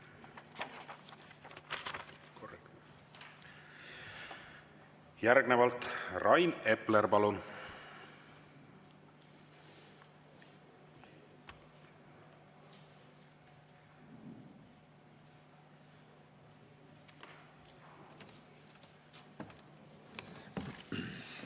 Järgnevalt Rain Epler, palun!